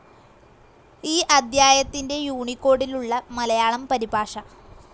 ഈ അദ്ധ്യായത്തിന്റെ യൂണികോഡിലുള്ള മലയാളം പരിഭാഷ